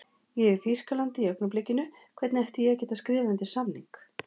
Ég er í Þýskalandi í augnablikinu, hvernig ætti ég að geta skrifað undir samning?